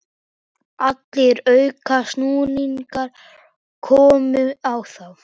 Allir aukasnúningar komu á þá.